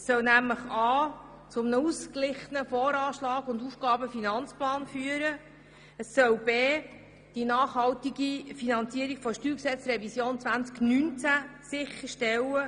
Dieses soll zu einem ausgeglichenen Voranschlag und einem ebensolchen Aufgaben- und Finanzplan führen und die nachhaltige Finanzierung der Steuergesetzrevision 2019 sicherstellen.